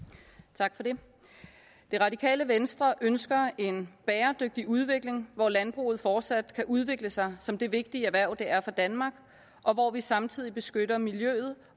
tak for det det radikale venstre ønsker en bæredygtig udvikling hvor landbruget fortsat kan udvikle sig som det vigtige erhverv som det er for danmark og hvor vi samtidig beskytter miljøet